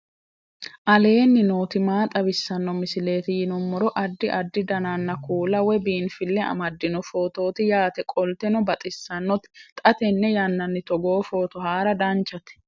aleenni nooti maa xawisanno misileeti yinummoro addi addi dananna kuula woy biinfille amaddino footooti yaate qoltenno baxissannote xa tenne yannanni togoo footo haara danchate